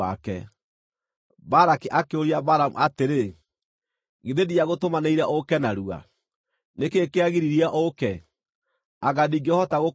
Balaki akĩũria Balamu atĩrĩ, “Githĩ ndiagũtũmanĩire ũũke narua? Nĩ kĩĩ kĩagiririe ũũke? Anga ndingĩhota gũkũrĩha?”